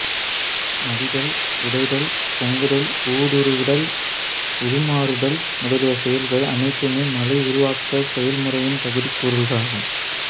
மடிதல் உடைதல் பொங்குதல் ஊடுறுவல் உருமாறுதல் முதலிய செயல்கள் அனைத்துமே மலை உருவாக்கச் செயல்முறையின் பகுதிக் கூறுகளாகும்